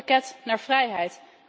Een pakket naar vrijheid.